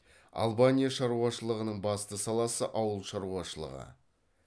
албания шаруашылығының басты саласы ауыл шаруашылығы